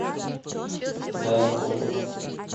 данкову